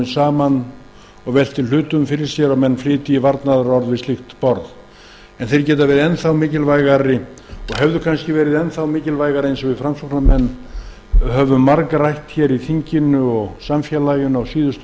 saman og velti hlutum fyrir sér og flytji varnaðarorð við slíkt borð þeir geta verið enn þá mikilvægari og hefðu verið það eins og við framsóknarmenn höfum margrætt hér í þinginu og samfélaginu á síðustu